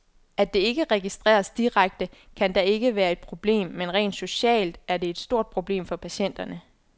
At det ikke registreres direkte, kan da ikke være et problem, men rent socialt er det et stort problem for patienterne.